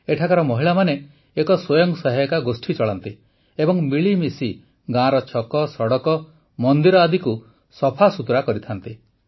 ଏଠାକାର ମହିଳାମାନେ ଏକ ସ୍ୱୟଂ ସହାୟିକା ଗୋଷ୍ଠୀ ଚଳାନ୍ତି ଏବଂ ମିଳିମିଶି ଗାଁର ଛକ ସଡ଼କ ମନ୍ଦିର ଆଦିକୁ ସଫାସୁତୁରା କରିଥାନ୍ତି